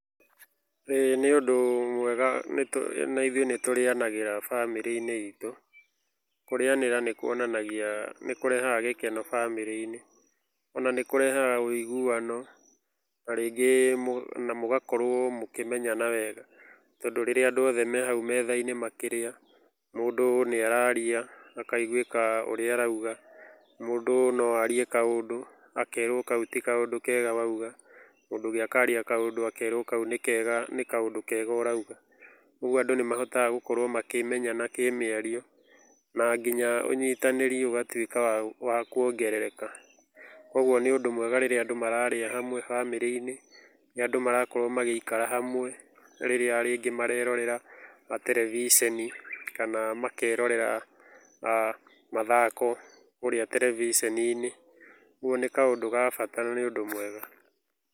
ĩĩ nĩ ũndũ mwega nĩ na ithuĩ nĩ tũrĩanagĩra bamĩrĩ-inĩ itũ. Kũrĩanĩra nĩ kuonanagia nĩ kũrehaga gĩkeno bamĩrĩ-inĩ. Ona nĩ kũrehaga wĩiguano na rĩngĩ na mũgakorwo mũkĩmenyana wega, tondũ rĩrĩa andũ othe me hau metha-inĩ makĩrĩa, mũndũ nĩ araria, akaigwĩka ũrĩa arauga. Mũndũ no arie kaũndũ, akerwo kau ti kaũndũ kega wauga. Mũndũ ũngĩ akaria kaũndũ akerwo kau nĩ kega, nĩ kaũndũ kega ũrauga. Ũguo andũ nĩ mahotaga gũkorwo makĩmenyana kĩmĩario, na nginya ũnyitanĩri ũgatuĩka wa wa kuongerereka. Ũguo nĩ ũndũ mwega rĩrĩa andũ mararĩa hamwe bamĩrĩ-inĩ, rĩrĩa andũ marakorwo magĩikara hamwe rĩrĩa rĩngĩ marerorera terebiceni kana makerorera mathako kũrĩa terebiceni-inĩ. Ũguo nĩ kaũndũ ga bata na nĩ ũndũ mwega.